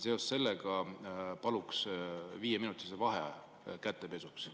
Seoses sellega palun viieminutilise vaheaja kätepesuks.